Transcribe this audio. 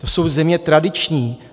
To jsou země tradiční.